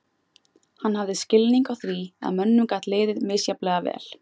Hann hafði skilning á því að mönnum gat liðið misjafnlega vel.